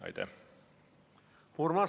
Aitäh!